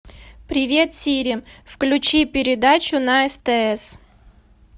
привет сири включи передачу на стс